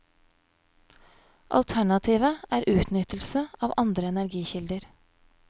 Alternativet er utnyttelse av andre energikilder.